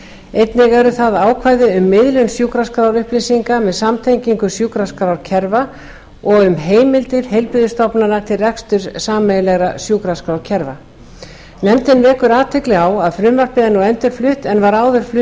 einnig eru þar ákvæði um miðlun sjúkraskrárupplýsinga með samtengingu sjúkraskrárkerfa og um heimildir heilbrigðisstofnana til reksturs sameiginlegra sjúkraskrárkerfa nefndin vekur athygli á að frumvarpið er nú endurflutt en var áður flutt